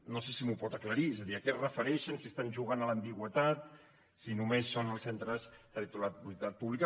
no sé si m’ho pot aclarir és a dir a què es refereixen si estan jugant a l’ambigüitat si només són els centres de titularitat pública